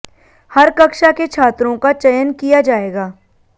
हर कक्षा के छात्रों का चयन किया जायेगा